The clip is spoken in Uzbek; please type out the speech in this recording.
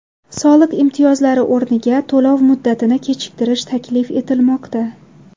Soliq imtiyozlari o‘rniga to‘lov muddatini kechiktirish taklif etilmoqda.